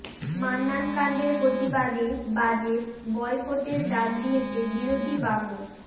মান্নানকাণ্ডের প্রতিবাদে বাজেট বয়কটের ডাক দিয়েছে বিরোধী বাম ও